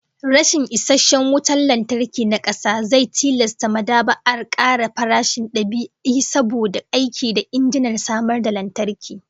Rashin isasshen wutan lantarki na kasa zai tilasta mad'aba'ar kara farashin dab'i saboda aiki da injinan samar da lantarki